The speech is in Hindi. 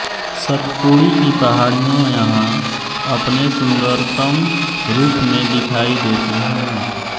सतपुड़ी की पहाड़ियों यहां अपने सुन्दरतम रूप में दिखाई देती हैं